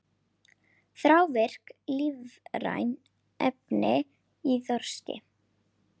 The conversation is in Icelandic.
Þrávirk lífræn efni í þorski